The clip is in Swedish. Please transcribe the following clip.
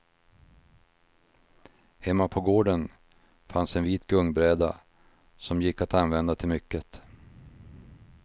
Hemma på gården fanns en vit gungbräda, som gick att använda till mycket.